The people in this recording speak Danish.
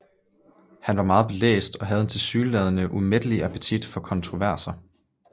Han var meget belæst og havde en tilsyneladende umættelig appetit på kontroverser